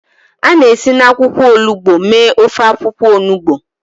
A na-esi na akwụkwọ olugbo mee ofe akwụkwọ onugbo.